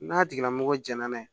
N'a tigilamɔgɔ jɛnɛna ye